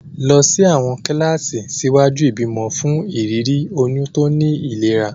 Lọ sí àwọn kíláàsì ṣíwájú ìbímọ fún ìrírí oyún tó ní ìlera.